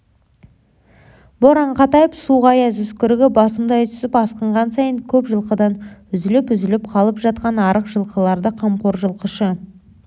боран қатайып суық аяз үскірігі басымдай түсіп асқынған сайын көп жылқыдан үзіліп-үзіліп қалып жатқан арық жылқыларды қамқор жылқышы